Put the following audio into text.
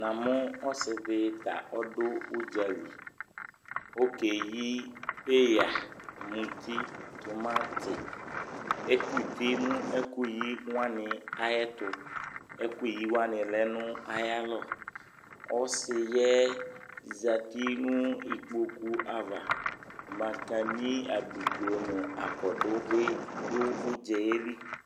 namʋ ɔsidi ta ɔdʋ ʋdzali, ɔkɛyi iya, mʋti, tʋmati, ɛkʋtɛ mʋ ɛkʋyi ayɛtʋ, ɛkʋyi wani lɛnʋ ayi alɔ, ɔsiɛ zati nʋ ikpɔkʋ aɣa, makani, abidzɔ nʋ akɔdʋ bi dʋ ʋdzaɛli